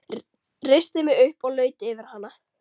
Reisti mig upp og laut yfir hana.